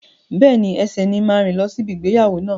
Bẹ́ẹ̀ni, ẹsẹ ni n máa rìn lọ si ibi ìgbéyàwó náà.